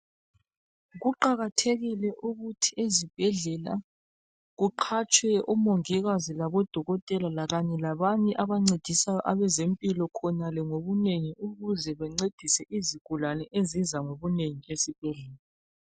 Kuqakathekile ukuthi ezibhedlela kuqatshwe omongikazi labodokotela lakanye labanye abancedisayo abazempilo khonale ngokunengi ukuze bencedise izigulane eziza ngokunengi lezibhedlela